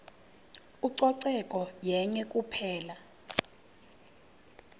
ucoceko yenye kuphela